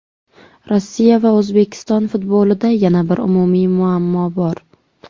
Rossiya va O‘zbekiston futbolida yana bir umumiy muammo bor.